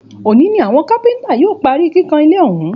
Òní ni àwọn kápẹ́ntà yóò parí kíkàn ilé ọ̀hún